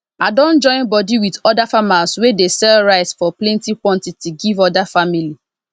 i don join bodi with oda farmers wey dey sell rice for plenty quantity give oda family